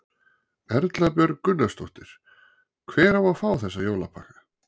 Erla Björg Gunnarsdóttir: Hver á að fá þessa jólapakka?